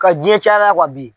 Ka jiyɛn cayara bi.